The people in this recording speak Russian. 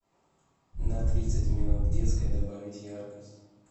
на тридцать минут в детской добавить яркость